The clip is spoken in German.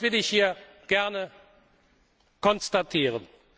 Das will ich hier gerne konstatieren.